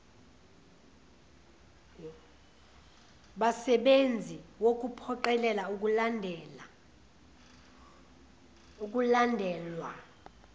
basebenzi wukuphoqelela ukulandelwa